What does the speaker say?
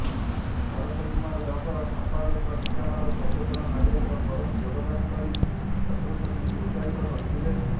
ଭରତ କୁମାର ଦାସ ସଂପାଦକ ଢେଙ୍କାନାଳ ସଚେତନ ନାଗରିକ ଫୋରମ ଯୋଗଦାନ କରି ଛାତ୍ରଛାତ୍ରୀଙ୍କୁ ଉତ୍ସାହିତ କରିଥିଲେ